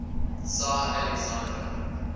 tsar alexander